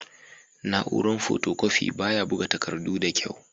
Na'uran fotokofi baya buga takardu da kyau.